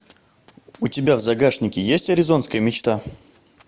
у тебя в загашнике есть аризонская мечта